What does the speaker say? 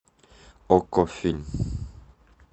окко фильм